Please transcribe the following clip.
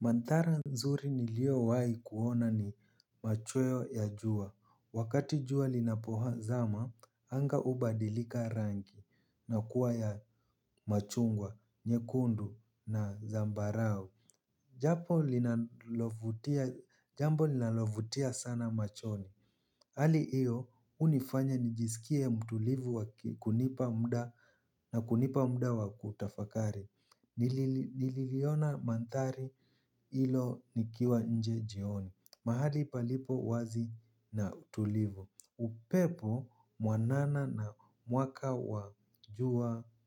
Manthara nzuri nilio wai kuona ni machweo ya jua. Wakati jua linapo zama, anga ubadilika rangi na kuwa ya machungwa, nyekundu na zambarau. Jambo linalovutia sana machoni. Hali hiyo unifanya nijiskie mtulivu na kunipa muda wa kutafakari. Nililiona manthari ilo nikiwa nje jioni. Mahali palipo wazi na tulivu. Upepo mwanana na